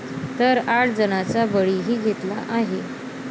तर आठ जणांचा बळीही घेतला आहे.